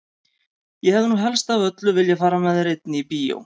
Ég hefði nú helst af öllu viljað fara með þér einni í bíó!